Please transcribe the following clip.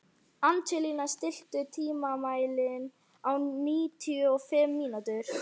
Angelína, stilltu tímamælinn á níutíu og fimm mínútur.